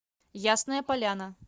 ясная поляна